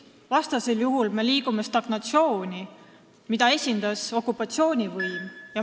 Vastasel juhul me liigume stagnatsiooni poole, mida esindas okupatsioonivõim.